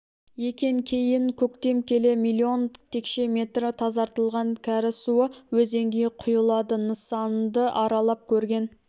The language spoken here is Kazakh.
екен кейін көктем келе миллион текше метр тазартылған кәріз суы өзенге құйылады нысанды аралап көрген